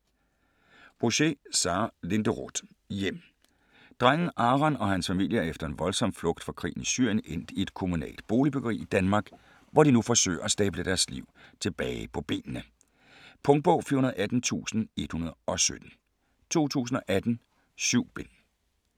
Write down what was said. Bouchet, Sara Linderoth: Hjem Drengen Aron og hans familie er efter en voldsom flugt fra krigen i Syrien endt i et kommunalt boligbyggeri i Danmark, hvor de nu forsøger at stable deres liv tilbage på benene. Punktbog 418117 2018. 7 bind.